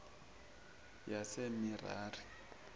yamerari